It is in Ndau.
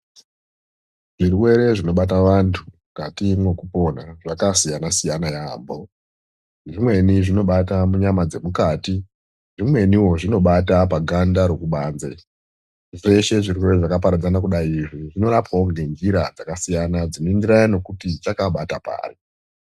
Zvirwere zvinobata vantu mukati mwokupona zvakasiyana-siyana yaambo. Zvimweni zvinobata munyama dzemukati, zvimweniwo zvinobata paganda rekubanze. Zveshe zvirwere zvakaparadzana kudai izvi zvinorapwawo ngenjira dzakasiyana dzinoenderana nekuti chakabata pari.